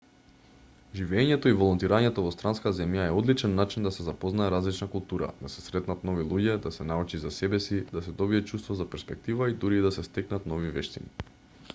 живеењето и волонтирањето во странска земја е одличен начин да се запознае различна култура да се сретнат нови луѓе да се научи за себеси да се добие чувство за перспектива и дури и да се стекнат нови вештини